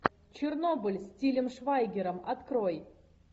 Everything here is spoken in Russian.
чернобыль с тилем швайгером открой